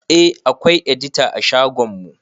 Eh akwai edita a shagon mu